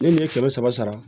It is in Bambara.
Ne ni n ye kɛmɛ saba sara